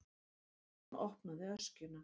Konan opnaði öskjuna.